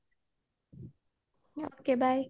okay bye